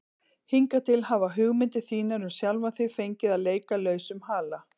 Hingað til hafa hugmyndir þínar um sjálfan þig fengið að leika lausum hala.